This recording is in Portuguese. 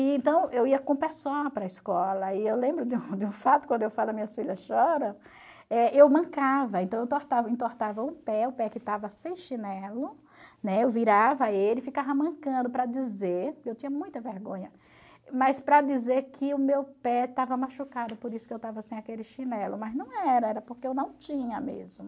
Então, eu ia com um pé só para a escola, e eu lembro de um de um fato, quando eu falo que minhas filhas choram, eh eu mancava, então eu entortava eu entortava o pé, o pé que estava sem chinelo, né, eu virava ele e ficava mancando para dizer, eu tinha muita vergonha, mas para dizer que o meu pé estava machucado, por isso que eu estava sem aquele chinelo, mas não era, era porque eu não tinha mesmo.